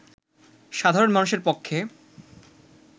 সাধারণ মানুষের পক্ষে